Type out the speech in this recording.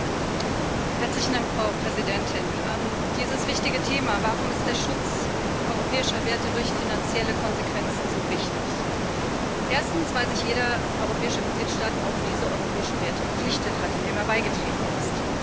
Frau Präsidentin! Dieses wichtige Thema Warum ist der Schutz europäischer Werte durch finanzielle Konsequenzen so wichtig? Erstens weil sich jeder europäische Mitgliedstaat auf diese europäischen Werte verpflichtet hat, indem er beigetreten ist.